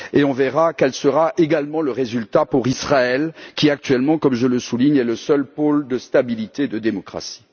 On verra alors quel sera également le résultat pour Israël qui, actuellement, comme je le souligne, est le seul pôle de stabilité et de démocratie.